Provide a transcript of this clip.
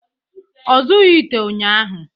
Ọ zụọghị ite ụnyahụ